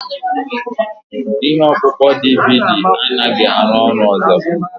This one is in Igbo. Ihe ọkpụkpọ DVD anaghị arụ ọrụ ọzọ.